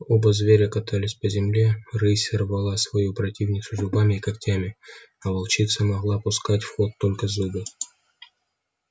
оба зверя катались по земле рысь рвала свою противницу зубами и когтями а волчица могла пускать в ход только зубы